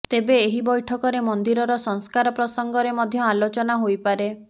ତେବେ ଏହି ବୈଠକରେ ମନ୍ଦିରର ସଂସ୍କାର ପ୍ରସଙ୍ଗରେ ମଧ୍ୟ ଆଲୋଚନା ହୋଇପାରେ